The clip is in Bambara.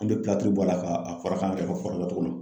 An bɛ bɔ a la k'a a fɔra k'an ka kɛ ko fura kɛ cogo min